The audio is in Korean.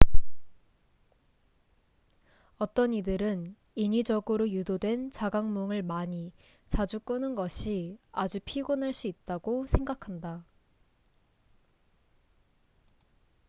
어떤 이들은 인위적으로 유도된 자각몽을 많이 자주 꾸는 것이 아주 피곤할 수 있다고 생각한다